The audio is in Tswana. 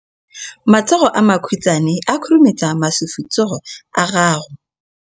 Matsogo a makhutshwane a khurumetsa masufutsogo a gago.